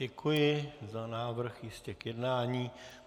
Děkuji za návrh ještě k jednání.